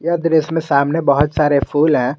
यह दृश्य में सामने बहोत सारे फूल है।